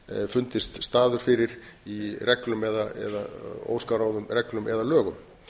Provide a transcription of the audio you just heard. fundist staður fyrir í reglum eða óskráðum reglum eða lögum